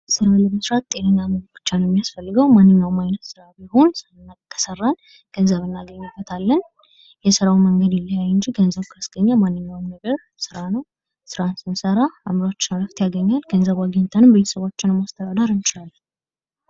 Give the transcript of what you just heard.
ስራ ለመስራት ጤነኛ መሆን ብቻ ነዉ የሚያስፈልገዉ። ማነኛዉም አይነት ስራ ቢሆን ስራ ከሰራን ገንዘብ እናገኝበታለን። የስራዉ መንገድ ይለያይ እንጅ ገንዘብ ካስገኘ ማንኛዉም ነገር ስራ ነዉ። ስራ ስንሰራ አዕምሯችን ረፍት ያገኛል። ገንዘብ አግኝተንም ቤተሰባችንን ማስተዳደር እንችላለን።